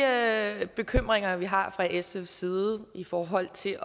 af de bekymringer som vi har fra sfs side i forhold til